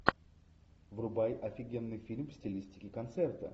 врубай офигенный фильм в стилистике концерта